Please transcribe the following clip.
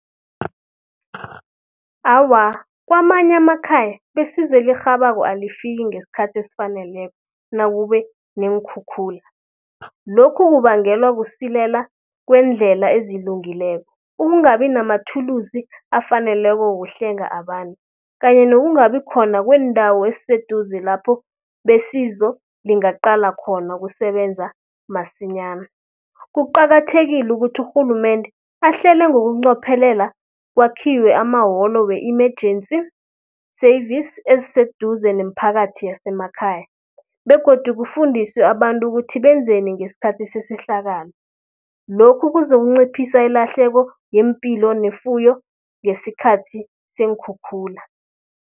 Awa, kwamanye amakhaya besizo elirhabako alifiki ngeskhathi esifaneleko nakube neenkhukhula. Lokhu kubangelwa kusilela kweendlela ezilungileko, ukungabi namathulusi afaneleko wokuhlenga abantu kanye nokungabi khona kweendawo eziseduze lapho besizo lingaqala khona ukusebenza masinyana. Kuqakathekile ukuthi urhulumende ahlele ngokunqophelela kwakhiwe amawolo we-emergency service, eziseduze neemphakathi yasemakhaya begodu kufundiswe abantu ukuthi benzeni ngeskhathi sesehlakalo. Lokhu kuzonciphisa ilahleko ngeempilo nefuyo ngesikhathi seenkhukhula.